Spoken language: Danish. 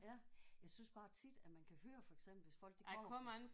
Ja. Jeg synes bare tit at man kan høre for eksempel hvis folk de kommer fra